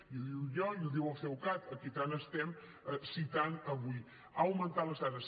i ho dic jo i ho diu el ceucat a qui tant estem citant avui han augmentat les taxes